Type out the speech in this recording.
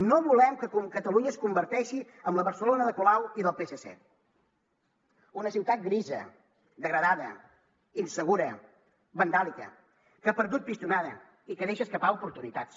no volem que catalunya es converteixi en la barcelona de colau i del psc una ciutat grisa degradada insegura vandàlica que ha perdut pistonada i que deixa escapar oportunitats